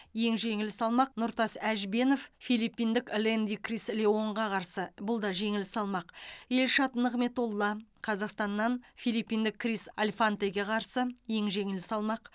ең жеңіл салмақ нұртас әжбенов филиппиндік лэнди крис леонға қарсы бұлда жеңіл салмақ елшат нығметолла қазақстаннан филиппиндік крис альфантеге қарсы ең жеңіл салмақ